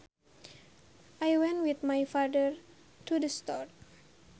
I went with my father to the store